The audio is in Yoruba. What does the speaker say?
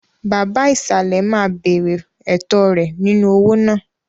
Baba ìsàlẹ̀ máa béèrè ẹ̀tọ́ rẹ̀ nínú owó náà.